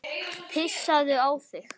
Pissaðu á þig.